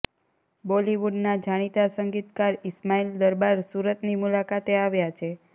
બોલીવુડના જાણીતા સંગીતકાર ઈસ્માઈલ દરબાર સુરતની મુલાકાતે આવ્યા છે